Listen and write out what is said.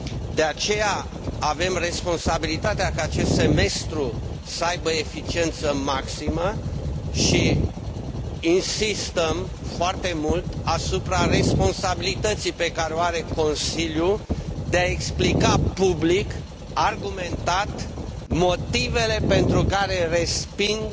De aceea, avem responsabilitatea ca acest Semestru să aibă eficiență maximă și insistăm foarte mult asupra responsabilității pe care o are Consiliul de a explica public, argumentat, motivele pentru care respinge